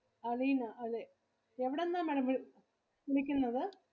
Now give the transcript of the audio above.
അലീന അല്ലെ എവിടുന്നാ Madam വിളിക്കുന്നത്.